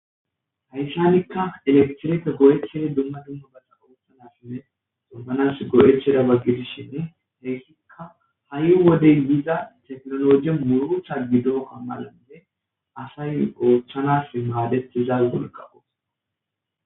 hayssanikka eleqtireta go7ethei dumma dumma baxaqohuthanasinne xoganas go7etherabaggidishinne heessikka ha7i wodey diza teknologiy murutha gido amalade asay oothchanas maadetiza golqawos